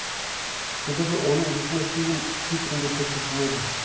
себебі оның есімі фильм титрінде көрсетілмеді